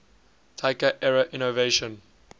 taika era innovation